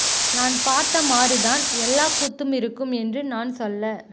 நான் பார்த்த மாதிரிதான் எல்லா கூத்தும் இருக்கும் என்று நான் சொல்ல